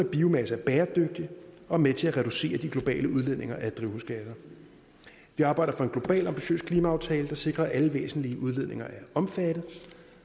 biomasse er bæredygtig og med til at reducere de globale udledninger af drivhusgasser vi arbejder for en global ambitiøs klimaaftale der sikrer at alle væsentlige udledninger er omfattet